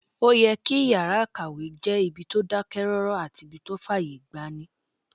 Ó yẹ kí yàrá-ìkàwé jẹ́ ibi tó dákẹ́ rọ́rọ́ àti ibí tó fàyè gbani